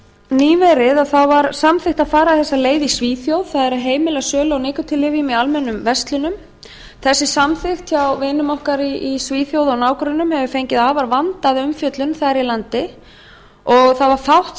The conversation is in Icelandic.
nýverið var samþykkt að fara þessa leið í svíþjóð það er að heimila sölu á nikótínlyfjum í almennum verslunum þessi samþykkt hjá vinum okkur í svíþjóð og nágrönnum hefur fengið afar vandaða umfjöllun þar í landi og það var fátt